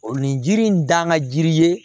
O nin jiri in dan ka jiri ye